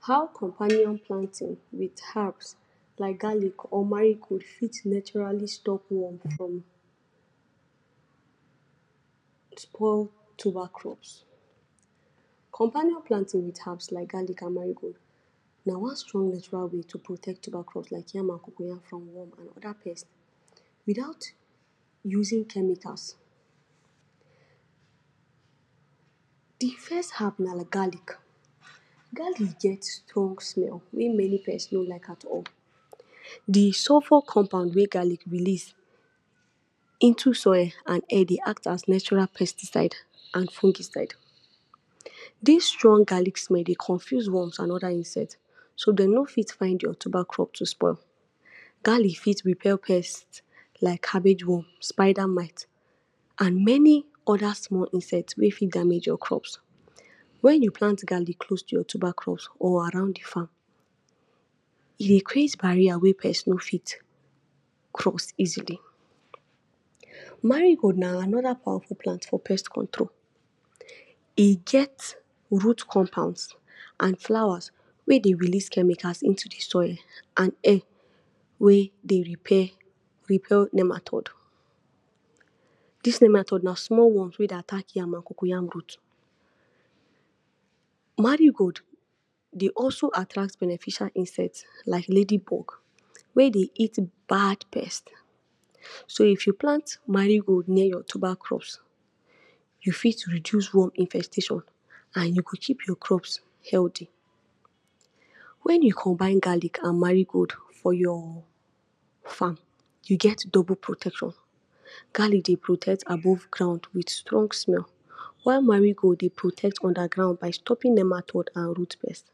How companion planting with herbs like garlic or marigold fit naturally stop worm from spoil tuber crops? Companion planting with herbs like garlic an marigold na one strong natural way to protect tuber crops like yam an cocoyam from worm an other pests without using chemicals. Di first herb na garlic. Garlic get strong smell wey many pest no like at all. Di sulphur compound wey garlic release into soil an air dey act as natural pesticide an fungicide. Dis strong garlic smell dey confuse worms an other insect so de no fit find your tuber crop to spoil. Garlic fit repel pest like cabbage worm, spider mite, an many other small insect wey fit damage your crops. Wen you plant garlic close to your tuber crops or around di farm, e dey create barrier wey pest no fit cross easily. Marigold na another powerful plant for pest control. E get root compounds an flowers wey dey release chemicals into di soil an air wey dey repair repel nematode. Dis nematode na small worms wey dey attack yam an cocoyam root. Marigold dey also attract beneficial insect like ladybug wey dey eat bad pest. So, if you plant marigold near your tuber crops, you fit reduce worm infestation an you go keep your crops healthy. Wen you combine garlic an marigold for your farm, you get double protection. Garlic dey protect above ground with strong smell, while marigold dey protect underground by stopping nematode an root pest.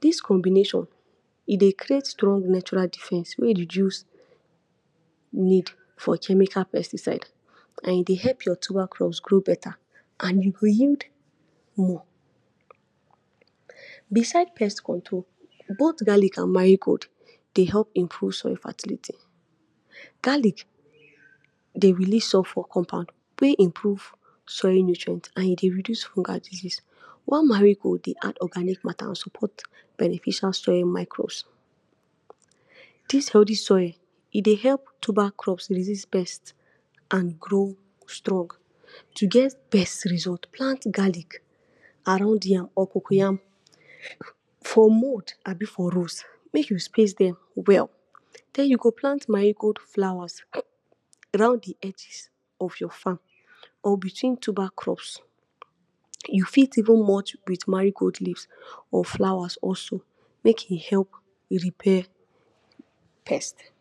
Dis combination e dey create strong natural defence wey reduce need for chemical pesticide, an e dey help your tuber crops grow beta, an you go yield more. Beside pest control, both garlic an marigold dey help improve soil fertility. Garlic dey release sulphur compound wey improve soil nutrient an e dey reduce fungal disease while marigold dey add organic matter an support beneficial soil microbes. Dis healthy soil, e dey help tuber crops resist pest, an grow strong. To get best result, plant garlic around yam or cocoyam for mound abi for rows. Make you space dem well. Then you go plant marigold flowers round di edges of your farm or between tuber crops. You fit even mulch with marigold leaves, or flowers also make e help repel pest.